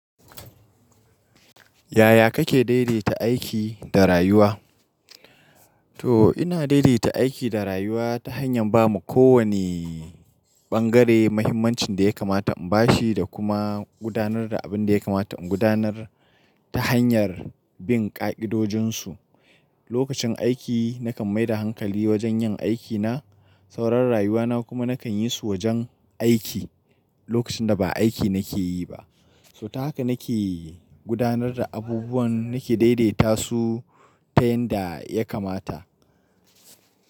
Yaya kake daidaita aiki da rayuwa? To ina daidaita aiki da rayuwa ta hanyar ba ma ko wani ɓangare mahimmancin da ya kamata in bashi da kuma gudanar da abin da ya kamata in gudanar ta hanyar bin ƙa'idojin su. Lokacin aiki nakan maida hankali wajen yin aiki na, sauran rayuwa na kuma nakan yi su wajen aiki lokacin da ba aiki nake yi ba. So ta haka nake gudanar da abubuwan nake daidaita su ta yanda ya kamata.